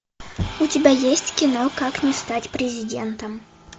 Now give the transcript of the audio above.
у тебя есть кино как не стать президентом